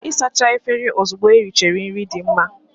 Ịsacha efere ozugbo erichara nri dị mma.